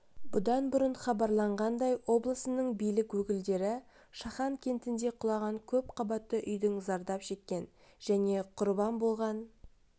бұдан бұрын хабарланғандай облысының билік өкілдері шахан кентінде құлаған көпқабатты үйдің зардап шеккен және құрбан болған